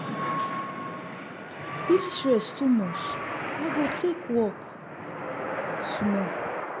if stress too much i go take walk small.